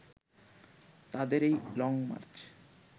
তাদের এই লংমার্চ